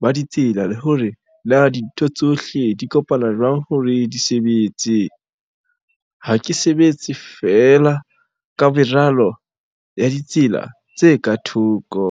ba ditsela le hore na dintho tsohle di kopana jwang hore di sebetse. Ha ke sebetse fee la ka meralo ya ditsela tse ka thoko.